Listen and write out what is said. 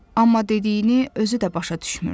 Amma dediyini özü də başa düşmürdü.